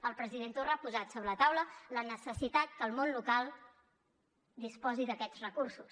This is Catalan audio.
el president torra ha posat sobre la taula la necessitat que el món local disposi d’aquests recursos